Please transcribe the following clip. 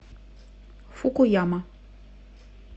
фукуяма